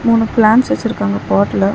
மூணு பிளான்ஸ் வெச்சிருக்காங்க பாட்ல .